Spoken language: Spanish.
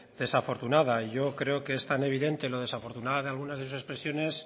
desafortunada y yo creo que es tan evidente lo desafortunada de alguna de sus expresiones